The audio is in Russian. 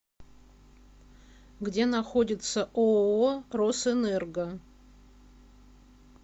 где находится ооо росэнерго